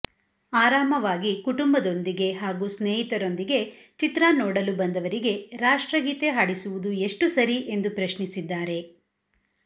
ಆರಾಮವಾಗಿ ಕುಟುಂಬದೊಂದಿಗೆ ಹಾಗೂ ಸ್ನೇಹಿತರೊಂದಿಗೆ ಚಿತ್ರ ನೋಡಲು ಬಂದವರಿಗೆ ರಾಷ್ಟ್ರಗೀತೆ ಹಾಡಿಸುವುದು ಎಷ್ಟು ಸರಿ ಎಂದು ಪ್ರಶ್ನಿಸಿದ್ದಾರೆ